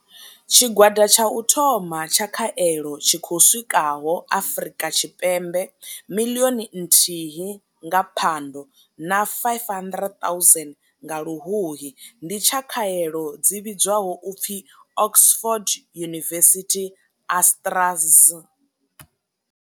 Tshigwada tsha u thoma tsha khaelo tshi khou swikaho Afrika Tshipembe miḽioni nthihi nga Phando na 500 000 nga Luhuhi, ndi tsha khaelo dzi vhidzwaho u pfi Oxford University-AstraZ.